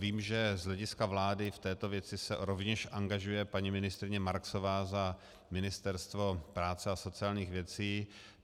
Vím, že z hlediska vlády v této věci se rovněž angažuje paní ministryně Marksová za Ministerstvo práce a sociálních věcí.